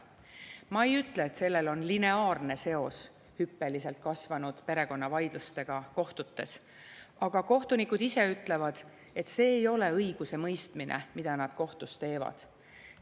Ma ei ütle, et sellel on lineaarne seos hüppeliselt kasvanud perekonnavaidlustega kohtutes, aga kohtunikud ise ütlevad, et see ei ole õigusemõistmine, mida nad kohtus teevad.